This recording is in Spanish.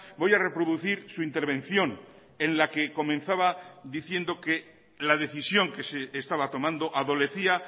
voy a reproducir su intervención en la que comenzaba diciendo que la decisión que se estaba tomando adolecía